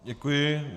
Děkuji.